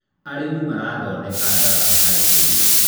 arĩmi marathondeka ndarasha harĩ mĩgũnda